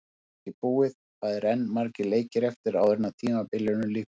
Þetta er alls ekki búið, það eru enn margir leikir eftir áður en tímabilinu lýkur.